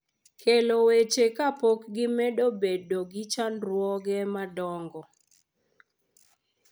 Kelo weche kapok gimedo bedo gi chandruoge madongo.